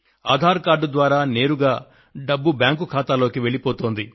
Aadhaar card ద్వారా నేరుగా డబ్బు బ్యాంకు ఖాతాలోకి వెళ్లిపోతోంది